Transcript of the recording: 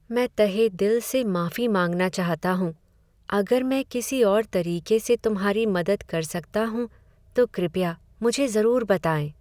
मैं तहेदिल से माफी मांगना चाहता हूँ! अगर मैं किसी और तरीके से तुम्हारी मदद कर सकता हूँ, तो कृपया मुझे ज़रूर बताएँ।